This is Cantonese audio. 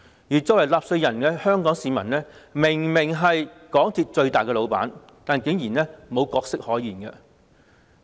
而香港市民作為納稅人，明明是港鐵公司的最大老闆，但竟然毫無角色可言。